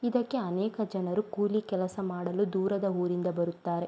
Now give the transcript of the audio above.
ಇದಕ್ಕೆ ಅನೇಕ ಜನರು ಕೂಲಿ ಕೆಲಸ ಮಾಡಲು ದೂರದ ಊರಿಂದ ಬರುತ್ತಾರೆ.